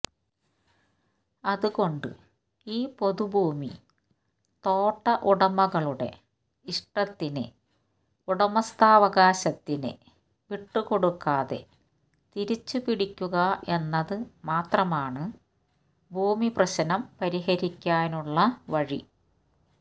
അതുകൊണ്ട് ഈ പൊതുഭൂമി തോട്ട ഉടമകളുടെ ഇഷ്ടത്തിന് ഉടമസ്ഥാവകാശത്തിന് വിട്ടുകൊടുക്കാതെ തിരിച്ചുപിടിക്കുക എന്നത് മാത്രമാണ് ഭൂമിപ്രശ്നം പരിഹരിക്കാനുള്ള വഴി